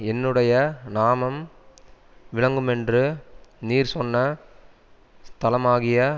என்னுடைய நாமம் விளங்குமென்று நீர் சொன்ன ஸ்தலமாகிய